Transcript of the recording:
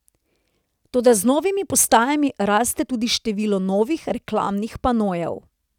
Toda z novimi postajami raste tudi število novih reklamnih panojev.